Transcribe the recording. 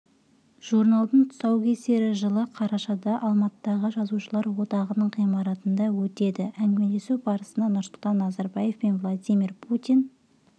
журналдың тұсаукесері жылы қарашада алматыдағы жазушылар одағының ғимаратында өтеді әңгімелесу барысында нұрсұлтан назарбаев пен владимир путин